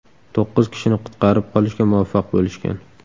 To‘qqiz kishini qutqarib qolishga muvaffaq bo‘lishgan.